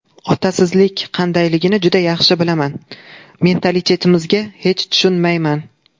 Otasizlik qandayligini juda yaxshi bilaman Mentalitetimizga hech tushunmayman.